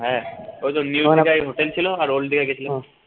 হ্যাঁ ওইতো hotel ছিল আর old দিঘা গেছিলাম